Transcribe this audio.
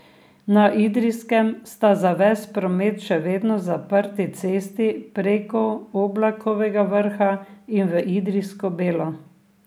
Na Idrijskem sta za ves promet še vedno zaprti cesti preko Oblakovega vrha in v Idrijsko Belo.